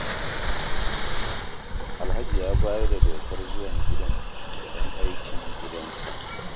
Alhaji ya bayar da dokar zuwan gidan ga ƴan aikin gidansa.